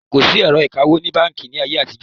Kòsí ẹ̀rọ ìkawó ni Báńkì ni ayé àtijọ́